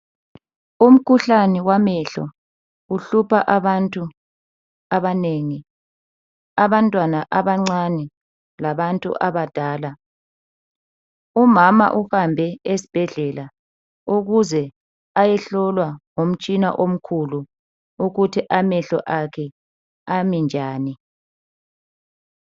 Umkhuhlane wamehlo uhlupha abantu abanengi abantwana abancane labantu abadala. Umama uhambe esibhedlela ukuze ayehlolwa ngomtshina omkhulu ukuthi amehlo akhe ami njani.